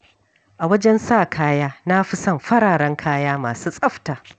A wajen sa kaya, na fi son fararen kaya masu tsafta.